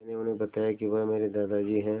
मैंने उन्हें बताया कि वह मेरे दादाजी हैं